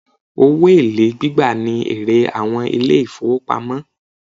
Owó èlé gbígbà ní èrè àwọn ilé ìfọwọ́pamo.